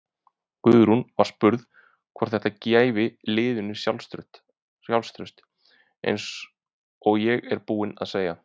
Guðrún var spurð hvort þætta gæfi liðinu sjálfstraust: Eins og ég er búinn að segja.